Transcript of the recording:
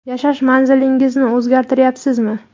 Yashash manzilingizni o‘zgartiryapsizmi?